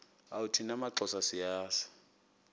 thina maxhosa siyazi